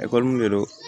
Ekɔli de don